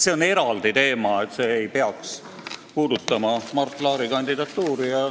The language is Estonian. See on eraldi teema, mis ei peaks puudutama Mart Laari kandidatuuri.